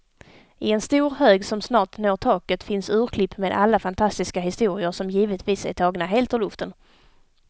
I en stor hög som snart når taket finns urklipp med alla fantastiska historier, som givetvis är tagna helt ur luften.